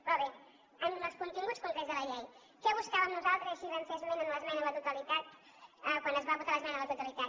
però bé en els continguts concrets de la llei què buscàvem nosaltres i així en vam fer esment en l’esmena a la totalitat quan es va votar l’esmena a la totalitat